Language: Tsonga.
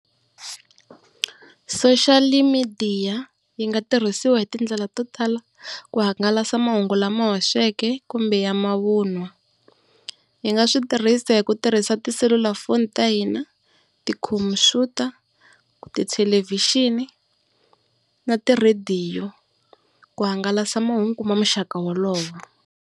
Social media yi nga tirhisiwa hi tindlela to tala ku hangalasa mahungu lama hoxeke kumbe ya mavunwa. Yi nga swi tirhisa hi ku tirhisa tiselulafoni ta hina ti-computer, tithelevhixini na tirhadiyo ku hangalasa mahungu ma muxaka wolowo.